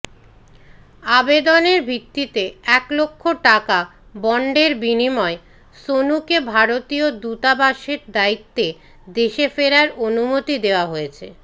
আবেদনের ভিত্তিতে একলক্ষ টাকা বন্ডের বিনিময়ে সোনুকে ভারতীয় দূতাবাসের দায়িত্বে দেশে ফেরার অনুমতি দেওয়া হয়েছে